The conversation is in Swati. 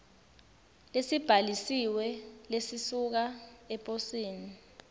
lesibhalisiwe lesisuka eposini